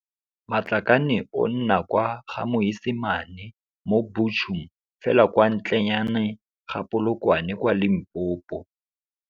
Matlakane o nna kwa Ga-Moisamane mo Buchum fela kwa ntlenyane ga Polokwane kwa Limpopo.